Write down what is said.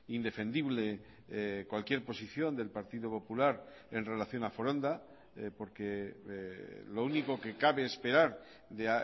indefendible cualquier posición del partido popular en relación a foronda porque lo único que cabe esperar de